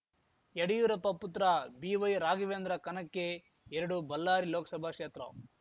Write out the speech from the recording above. ಯಡ್ಯೂರಪ್ಪ ಪುತ್ರ ಬಿವೈರಾಘವೇಂದ್ರ ಕನಕ್ಕೆ ಎರಡು ಬಲ್ಲಾರಿ ಲೋಕಸಭಾ ಕ್ಷೇತ್ರ